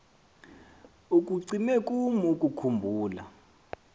ikucime kum ukukhumbula